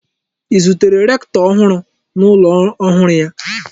I zutere rektọ ọhụrụ n'ụlọ ọhụrụ ya?